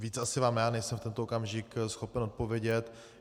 Víc asi vám já nejsem v tento okamžiku schopen odpovědět.